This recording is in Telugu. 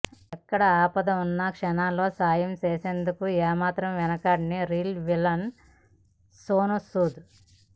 ఎక్కడ ఆపద ఉన్నా క్షణాల్లో సాయం చేసేందుకు ఏమాత్రం వెనకాడని రీల్ విలన్ సోనూ సూద్